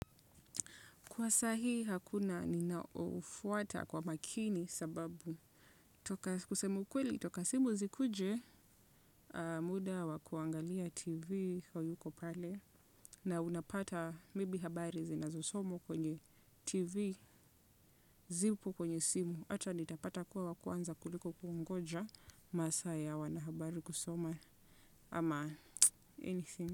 Kwa saa hii hakuna ninaofuata kwa makini sababu. Toka kusema ukweli, toka simu zikuje, muda wa kuangalia tv hauko pale. Na unapata maybe habari zinazosomwa kwenye tv zipo kwenye simu. Hata nitapata kuwa wa kwanza kuliko kungoja maasa ya wanahabari kusoma ama anything.